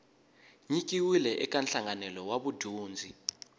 nyikiwile eka nhlanganelo wa vudyondzi